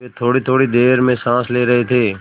वह थोड़ीथोड़ी देर में साँस ले रहे थे